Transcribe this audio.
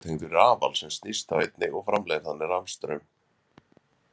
Túrbínan er tengd við rafal sem snýst þá einnig og framleiðir þannig rafstraum.